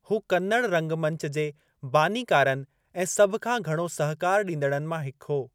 हू कन्नड़ रंगमंच जे बानीकारनि ऐं सभ खां घणो सहिकारु ॾींदड़नि मां हिकु हो।